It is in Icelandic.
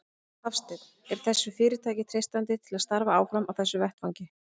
Hafsteinn: Er þessu fyrirtæki treystandi til að starfa áfram á þessum vettvangi?